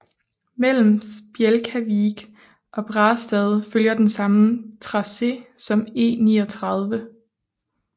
Mellem Spjelkavik og Brastad følger den samme tracé som E39